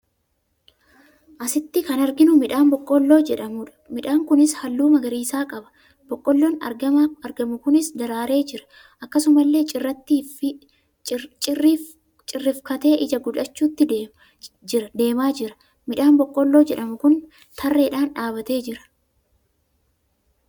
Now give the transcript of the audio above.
Asitti kan arginu midhaan boqqolloo jedhamu dha. Midhaan kunis halluu magariisa qaba. Boqqolloon argamu kunis daraare jira. Akkasuma illee cirriifkatee ijaa godhachuuttu deemaa jiraa. Midhaan boqqolloo jedhamu kun tarreedhaan dhaabbatee jira.